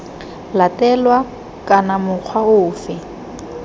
latelwa kana c mokgwa ofe